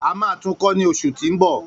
A máa tún kọ́ ní oṣù ti ń mbọ